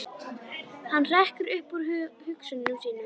Hann hrekkur upp úr hugsunum sínum.